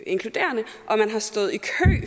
inkluderende og man har stået i kø